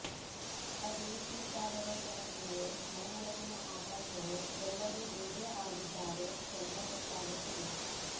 ಅದು ಈ ಕಾಲದ ಸಮಸ್ಯೆಯೋ ನನ್ನೊಳಗಿನ ಆತಂಕವೋ ಎಲ್ಲರೂ ಹೀಗೇ ಆಗಿದ್ದಾರೋ ಒಂದೂ ಗೊತ್ತಾಗುತ್ತಿಲ್ಲ